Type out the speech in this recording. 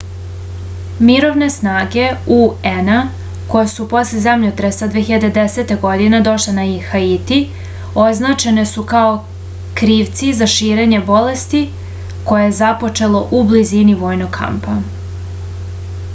mirovne snage un-a koje su posle zemljotresa 2010. godine došle na haiti označene su kao krivci za širenje bolesti koje je započelo u blizini vojnog kampa